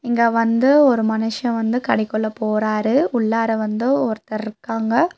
இங்க வந்து ஒரு மனுஷ வந்து கடைக்குள்ள போறாரு. உள்ளார வந்து ஒருத்தர் இருக்காங்க.